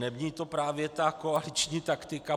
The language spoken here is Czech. Není to právě ta koaliční taktika?